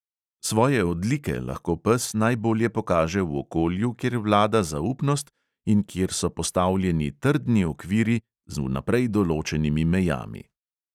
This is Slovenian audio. Svoje odlike lahko pes najbolje pokaže v okolju, kjer vlada zaupnost in kjer so postavljeni trdni okviri z vnaprej določenimi mejami.